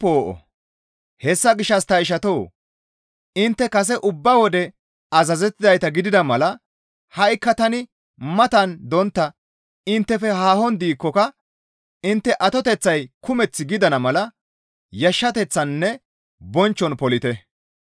Hessa gishshas ta ishatoo! Intte kase ubba wode azazettizayta gidida mala ha7ikka tani matan dontta inttefe haahon diikkoka intte atoteththay kumeth gidana mala yashshateththaninne bonchchon polite.